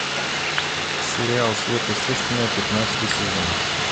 сериал сверхъестественное пятнадцатый сезон